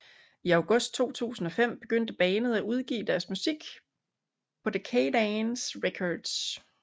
I august 2005 begyndte bandet at udgive deres musik på Decaydance Records